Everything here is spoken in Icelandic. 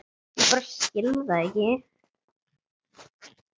Ég bara skil það ekki.